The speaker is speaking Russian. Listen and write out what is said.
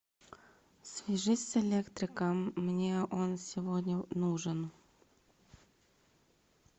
свяжись с электриком мне он сегодня нужен